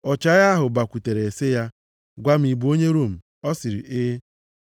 Ọchịagha ahụ bịakwutere sị ya, “Gwa m, ị bụ onye Rom?” Ọ sịrị, “E.”